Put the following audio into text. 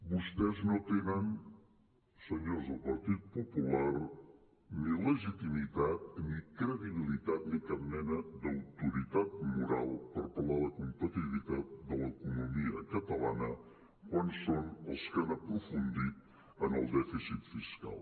vostès no tenen senyors del partit popular ni legitimitat ni credibilitat ni cap mena d’autoritat moral per parlar de la competitivitat de l’economia catalana quan són els que han aprofundit en el dèficit fiscal